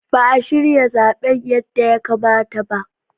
Ba a shirya zaben yadda ya kamata ba.